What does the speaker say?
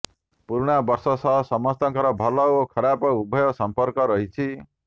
ପୁରୁଣା ବର୍ଷ ସହ ସମସ୍ତଙ୍କର ଭଲ ଓ ଖରାପ ଉଭୟ ସମ୍ପର୍କ ରହିଛି